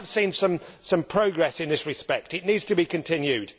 We have seen some progress in this respect and it needs to be continued.